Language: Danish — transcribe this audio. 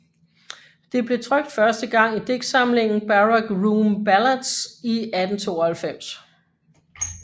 Det blev trykt første gang i digtsamlingen Barrack Room Ballads i 1892